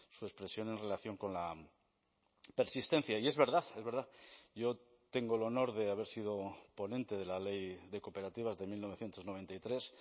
su expresión en relación con la persistencia y es verdad es verdad yo tengo el honor de haber sido ponente de la ley de cooperativas de mil novecientos noventa y tres